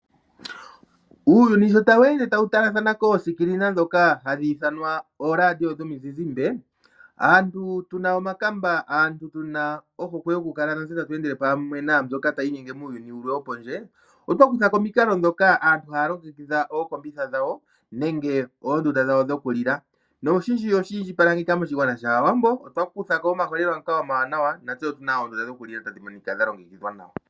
Uuyuni sho tawu ende tawu talathana koosikilina ndhoka hadhi ithanwa ooradio dhomizizimbe, aantu tuna omakamba, aantu natse tuna ohokwe yoku kala tatu endele pamwe naambyoka tayi inyenge pamwe muuyuni wopondje otwa kutha ko omikalo ndhoka aantu haya longekidha ookombitha dhawo nenge oondunda dhawo dhoku li la noshindji oshili ngeyika shaawambo otwa kutha ko omaholelwa ngoka omawanawa nantse otuna oondunda dhoku li la tadhi monika nawa.